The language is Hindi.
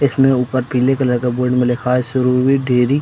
इसमें ऊपर पीले कलर का बोर्ड में लिखा है सुरभि डेरी --